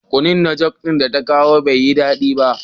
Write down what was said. Kunu da "Judith " ta kawo bai da dadi.